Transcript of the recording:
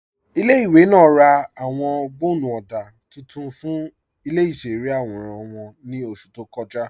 Ilẹ̀-ìwé náà rá ạwọn gbọ́nnú ọdá tuntun fún ilẹ̀-ìṣẹ̀rẹ̀ awóran wọn ní oṣù tó kọ́jà.